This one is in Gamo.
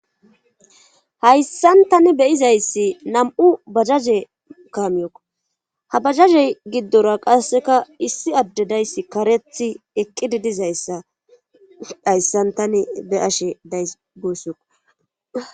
hayssan tani beyizayssi nam7u bajaje kaamiyokko ha bajazey giddora qasseka issi addedayssi karethi eqqidi dizayssa hayssan tani be7ashe days guussoq